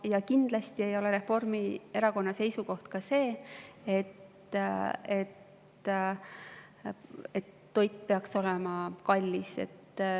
Ja kindlasti ei ole Reformierakonna seisukoht see, et toit peaks olema kallis.